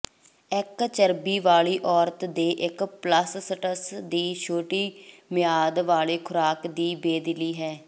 ਇੱਕ ਚਰਬੀ ਵਾਲੀ ਔਰਤ ਦੇ ਇੱਕ ਪਲੱਸਸਟਸ ਦੀ ਛੋਟੀ ਮਿਆਦ ਵਾਲੇ ਖੁਰਾਕ ਦੀ ਬੇਦਿਲੀ ਹੈ